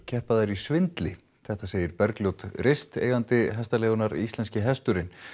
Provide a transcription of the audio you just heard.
keppa þær í svindli þetta segir Bergljót rist eigandi hestaleigunnar Íslenski hesturinn